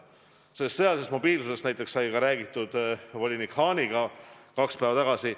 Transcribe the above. " Sõjalisest mobiilsusest näiteks sai ka räägitud volinik Hahniga kaks päeva tagasi.